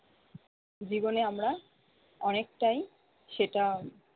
জীবনে আমরা অনেকটাই সেটা-